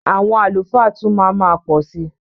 Àwọn àlùfáà tún má ma pọ̀ si.